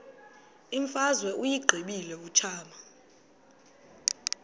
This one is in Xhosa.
imfazwe uyiqibile utshaba